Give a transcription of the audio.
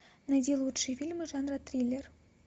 найди лучшие фильмы жанра триллер